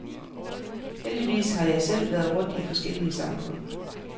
Heldigvis har jeg selv været rundt i forskellige samfund.